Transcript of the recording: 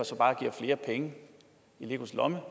bare giver flere penge i legos lomme